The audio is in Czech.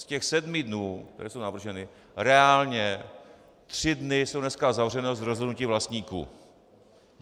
Z těch sedmi dnů, které jsou navrženy, reálně tři dny jsou dneska zavřené z rozhodnutí vlastníků.